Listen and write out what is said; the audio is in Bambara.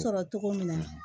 Sɔrɔ cogo min na